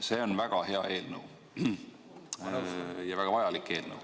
See on väga hea eelnõu ja vajalik eelnõu.